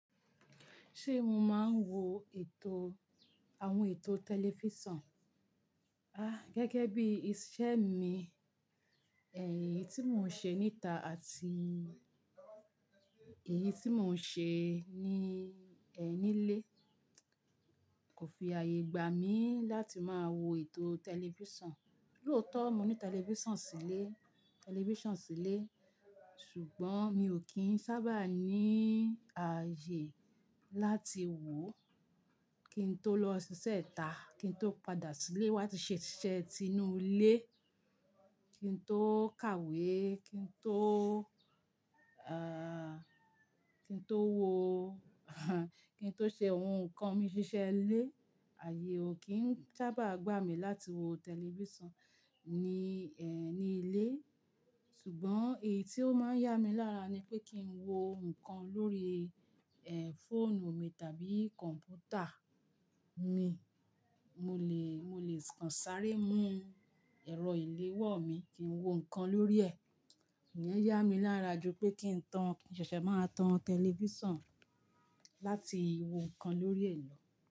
Ṣé mo máa ń wo ètò àwọn ètò tẹlifísàn? À gẹ́gẹ́ bí iṣẹ́ mi, ẹ̀yín tí mò ń ṣe níta àti èyí tí mò ń ṣe ní ẹní lé kò fi ààyè gbà mí láti máa wo ètò tẹlifísàn. Lóòtọ́, mo ní tẹlifísàn sílé, tẹlifísàn sílé, ṣùgbọ́n mi ò kí ń sábà ní ààyè láti wo. Kí n tó lọ ṣiṣẹ́ ita, kí n tó padà sílé wá ti ṣiṣẹ́ inú ilé, kí n tó kàwé, kí n tó, kí n tó wo, kí n tó ṣe ohun kan mi ṣiṣẹ́ lé, ààyè ò kí ń sábà gbà mí láti wo tẹlifísàn ní ẹ́n ní ilé. Ṣùgbọ́n èyí tí ó máa ń yá mi lára ni pé kí n wo nǹkan lórí, fọ́ọ̀nù mi tàbí kọ̀mpútà mi, mo lè, mo lè kànsáré mú ẹ̀rọ ìléwọ́ mi kí n wo nǹkan lórí ẹ̀. Iyen yá mi lára ju pé kí n tan, kí n ṣẹ̀ṣẹ̀ máa tan tẹlifísàn láti wo nǹkan lórí ẹ̀ lọ.